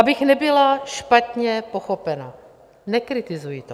Abych nebyla špatně pochopena, nekritizuji to.